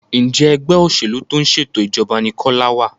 Njé Ẹgbẹ́ òṣèlú tó ń ṣètò ìjọba ní Kola wá?